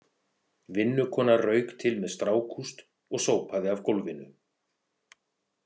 Vinnukona rauk til með strákúst og sópaði af gólfinu.